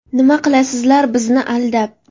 Nima qilasizlar bizni aldab?